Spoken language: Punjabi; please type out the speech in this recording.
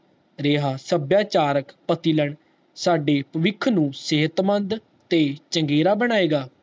ਰਿਹਾ ਸਬੀਆਂਚਾਰਕ ਸਾਡੇ ਵਵਿਖ ਨੂੰ ਸਿਹਤਮੰਦ ਤੇ ਚੰਗੇਰਾ ਬਣਾਏਗਾ